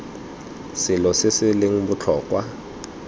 selo se se leng botlhokwa